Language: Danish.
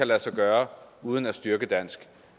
lade sig gøre uden at styrke dansk